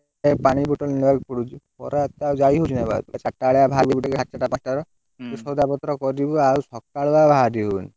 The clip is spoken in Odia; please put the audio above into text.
ଏ ପାଣି bottle ନେବାକୁ ପଡୁଛି। ଖରାରେ ତ ଆଉ ଯାଇ ହଉନି ଆଉ ଚାରିଟାବେଲିଆ ଭାରିକି ହାଟୁଟା କରିଦବା। ତୁ ସଉଦା ପତ୍ର କରିବୁ ଆଉ ସକାଳୁଆ ବାହାରି ହଉନି।